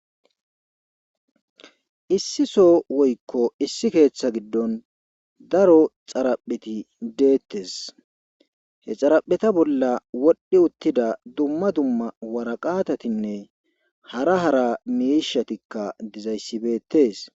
issi so woyikko issi keeththa giddon daro xarapheti deettes he xarapheta bolla wodhdhi uttida dumma dumma waraqatatinne hara hara miishatikka dizayssi bettes